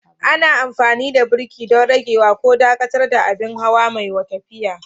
Ana amfani da birki don ragewa ko dakatar da abin hawa mai tafiya.